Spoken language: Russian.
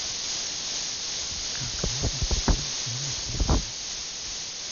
как можно пополнить номер телефона